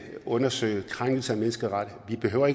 undersøge krænkelser af menneskerettighederne behøver